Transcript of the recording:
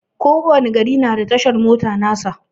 Ko wani gari na da tashar mota nasa.